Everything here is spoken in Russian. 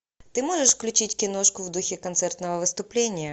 ты можешь включить киношку в духе концертного выступления